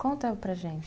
Conta para a gente.